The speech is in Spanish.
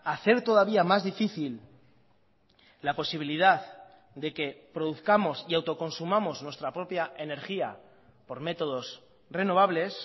hacer todavía más difícil la posibilidad de que produzcamos y autoconsumamos nuestra propia energía por métodos renovables